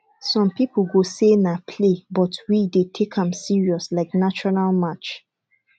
some people go say na play but we dey take am serious like national match